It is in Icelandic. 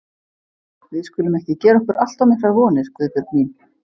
Við skulum ekki gera okkur allt of miklar vonir, Guðbjörg mín.